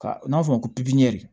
Ka n'a fɔ ko